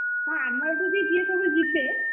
ହଁ ଆମ ଏଠୁ ବି ଯିଏ ସବୁ ଯିବେ,